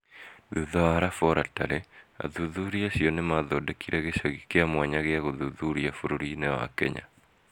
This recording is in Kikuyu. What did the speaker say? Thutha wa raboratarĩ, athuthuria acio nĩ maathondekire gĩcagi kia mwanya gĩa gũthuthuria bũrũri-inĩ wa Kenya.